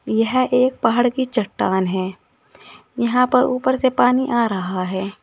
यह एक पहाड़ की चट्टान है यहां पर ऊपर से पानी आ रहा है।